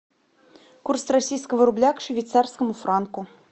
курс российского рубля к швейцарскому франку